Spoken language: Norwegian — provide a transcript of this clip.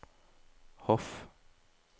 Hof